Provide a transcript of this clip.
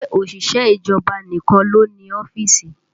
Ṣé òṣìṣẹ́ ìjọba nìkan ló ń ní ọ́fíìsì?